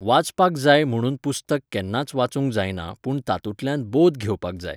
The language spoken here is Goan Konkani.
वाचपाक जाय म्हुणून पुस्तक केन्नाच वाचूंक जायना पूण तातुंतल्यान बोध घेवपाक जाय.